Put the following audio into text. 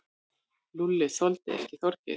Lúlli þoldi ekki Þorgeir.